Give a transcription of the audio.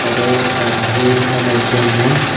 তাদের পাপ ধুয়ে ফেলার জন্য--